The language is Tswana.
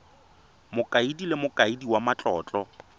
mokaedi le mokaedi wa matlotlo